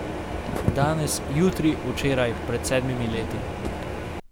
Danes, jutri, včeraj, pred sedmimi leti.